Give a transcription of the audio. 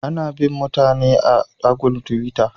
Ana bin' mutane a'agul tiwitta.